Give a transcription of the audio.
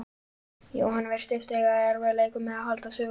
Jóhann virtist eiga í erfiðleikum með að halda sögunni áfram.